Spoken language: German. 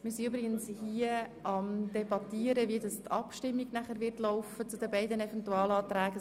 Wir sind daran, seitens des Präsidiums zu debattieren, wie nachher die Abstimmung zu diesen beiden Eventualanträgen ablaufen soll.